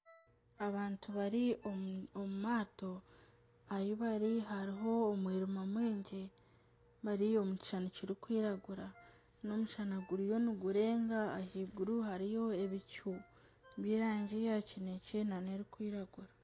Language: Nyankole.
Abantu bari omu maato ahi bari hariho omwirima mwingi bari omu kishushani kirikwiragura , n'omushana guriyo nigurenga ahaiguru hariyo ebicu by'erangi ya kinekye nana erikwiragura.